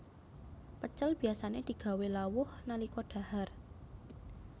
Pecel biasané digawé lawuh nalika dhahar